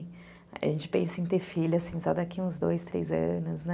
A gente pensa em ter filha, assim, só daqui uns dois, três anos, né?